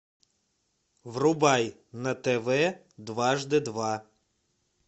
врубай на тв дважды два